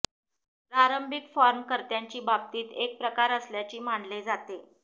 प्रारंभिक फॉर्म कर्त्याची बाबतीत एक प्रकार असल्याचे मानले जाते